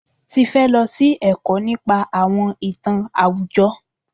Tifẹ́ lọ sí ẹ̀kọ́ nípa àwọn ìtàn àwùjọ.